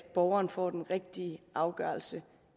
at borgeren får den rigtige afgørelse